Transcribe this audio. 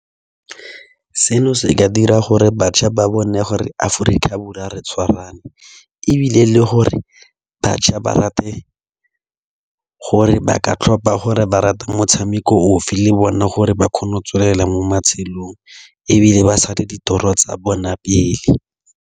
Seno se ka dira gore bašwa ba bone gore Aforika Borwa re tshwarane. Ebile le gore bašwa ba rate gore ba ka tlhopa gore ba rata motshameko ofe, le bone gore ba kgone go tswelela mo matshelong, ebile ba sale di toro tsa bone pele.